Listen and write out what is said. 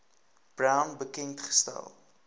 brown bekend gestel